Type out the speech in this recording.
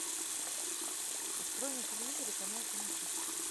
открой на телевизоре канал кинохит